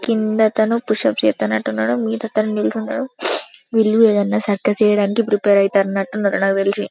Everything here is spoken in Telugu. కింద ఆతను పుష్ అప్స్ చేస్తున్నట్టు ఉన్నాడు మీద అతను నిల్చనే ఉన్నాడు వీళ్లు ఏదైనా సర్కస్ చేయడానికి ప్రిపేర్ అవుతున్నట్టు ఉన్నారు నాకు తెలిసి.